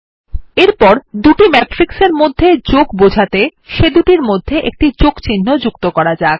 এরপর দুটি ম্যাট্রিক্স এর মধ্যে যোগ বোঝাতে সেদুটির মধ্যে একটি যোগচিহ্ন যুক্ত করা যাক